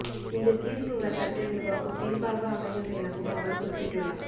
இந்த தீர்ப்பு வரலாற்றை உருவாக்கும் தீர்ப்பாக அமையும் எனவும் அவர் குறிப்பிட்டுள்ளார்